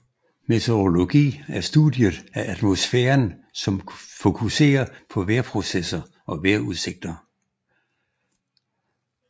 Meteorologi er studiet af atmosfæren som fokuserer på vejrprocesser og vejrudsigter